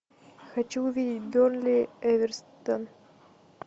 хочу увидеть бернли эвертон